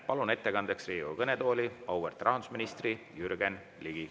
Palun ettekandeks Riigikogu kõnetooli auväärt rahandusministri Jürgen Ligi.